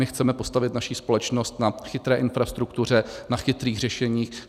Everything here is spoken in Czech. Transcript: My chceme postavit naši společnost na chytré infrastruktuře, na chytrých řešeních.